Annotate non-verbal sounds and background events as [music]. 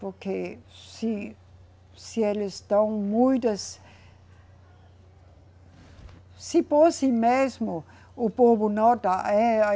Porque se, se eles dão muitas Se fosse mesmo, o povo [unintelligible]